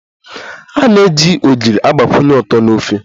A na-eji Ogiri agbakwunye ụtọ na ofe